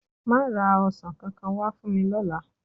Máa ra ọsàn kankan wá fún mi lọ́la.